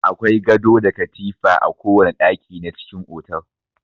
Akwai gado da katifa a kowana ɗaki na cikin otal.